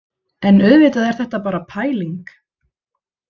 En auðvitað er þetta bara pæling.